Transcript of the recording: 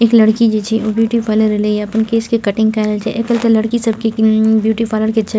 एक लड़की छे उ ब्यूटी पार्लर ऐलैया अपन केश के कटिंग कराएल ऐल छे एकर त लड़की सब के ब्यूटी पार्लर के छे।